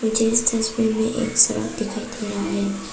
मुझे इस तस्वीर में एक सांड दिखाई दे रहा है।